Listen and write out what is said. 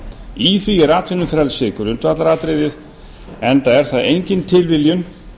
í því er atvinnufrelsi grundvallaratriðið enda er það engin tilviljun